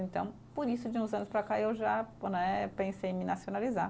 Então, por isso, de uns anos para cá, eu já né pensei em me nacionalizar.